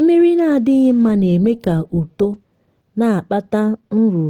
mmiri na-adịghị mma na-eme ka uto na-akpata nrụrụ